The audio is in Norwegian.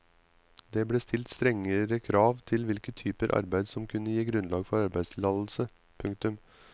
Det ble stilt strengere krav til hvilke typer arbeid som kunne gi grunnlag for arbeidstillatelse. punktum